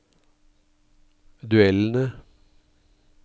duellene